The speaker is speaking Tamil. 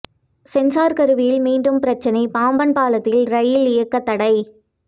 சென்சார் கருவியில் மீண்டும் பிரச்னை பாம்பன் பாலத்தில் ரயில் இயக்க தடை